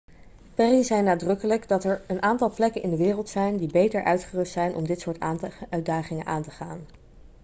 perry zei nadrukkelijk dat 'er een aantal plekken in de wereld zijn die beter uitgerust zijn om dit soort uitdagingen aan te gaan.'